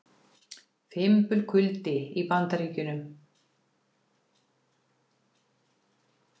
Fimbulkuldi í Bandaríkjunum